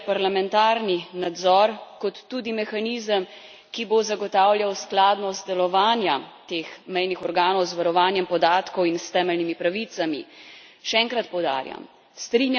Nujno je tudi, da predlog vključuje parlamentarni nadzor, kot tudi mehanizem, ki bo zagotavljal skladnost delovanja teh mejnih organov z varovanjem podatkov in s temeljnimi pravicami.